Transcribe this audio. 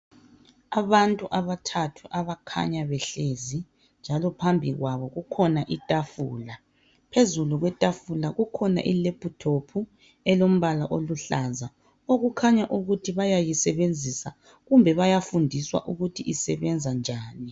abantu abathathu abakhanya behlezi njalo phambi kwabo kukhona itafula phezulu kwetafula kukhona i laptop elombala oluhlaza okukhanya ukuthi bayayisebenzasa kumbe bayafundiswa ukuthi isebenza njani